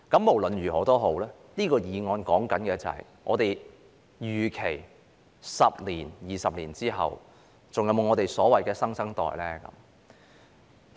無論如何，就這項議案而言，究竟在10年、20年後，我們會否還有所謂的新生代？